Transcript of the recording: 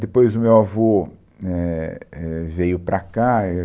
Depois, o meu avô éh, éh, veio para cá e.